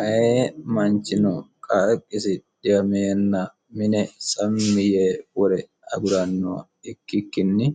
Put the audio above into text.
aaye manchino qaaqqisi dhiwameenna mine sammi yee wore agurannoha ikkikkinni